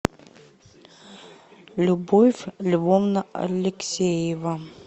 любовь львовна алексеева